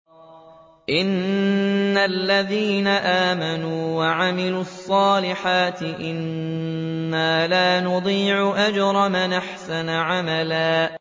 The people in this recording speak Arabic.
إِنَّ الَّذِينَ آمَنُوا وَعَمِلُوا الصَّالِحَاتِ إِنَّا لَا نُضِيعُ أَجْرَ مَنْ أَحْسَنَ عَمَلًا